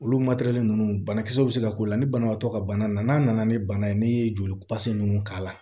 Olu ninnu banakisɛw bɛ se ka k'u la ni banabaatɔ ka bana na n'a nana ni bana ye n'i ye joli ninnu k'a la